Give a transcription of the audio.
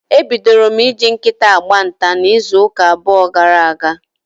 E bidoro m ị ji nkịta agba nta n'izuuka abụọ gara aga.